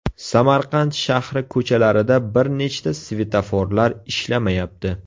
Samarqand shahri ko‘chalarida bir nechta svetoforlar ishlamayapti .